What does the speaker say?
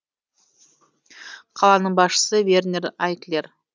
қаланың басшысы вернер айклер